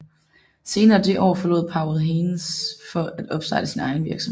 Senere det år forlod Powell Haynes for at opstarte sin egen virksomhed